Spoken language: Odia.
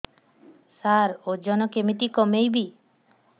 ସାର ଓଜନ କେମିତି କମେଇବି